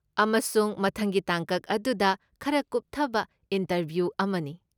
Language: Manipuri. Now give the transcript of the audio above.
ꯑꯃꯁꯨꯡ ꯃꯊꯪꯒꯤ ꯇꯥꯡꯀꯛ ꯑꯗꯨꯗ ꯈꯔ ꯀꯨꯞꯊꯕ ꯏꯟꯇꯔꯚ꯭ꯌꯨ ꯑꯃꯅꯤ ꯫